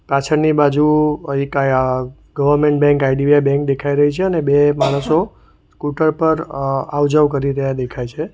પાછળની બાજુ એક અહ ગવર્મેન્ટ બેંક આઇ_ડી_વિ_આઇ બેન્ક દેખાય રહી છે અને બે માણસો સ્કૂટર પર અહ આવ જાવ કરી રહ્યા દેખાય છે.